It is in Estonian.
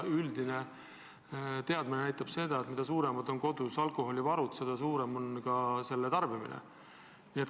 Üldine teadmine paraku on, et mida suuremad on kodus alkoholivarud, seda suurem on ka tarbimine.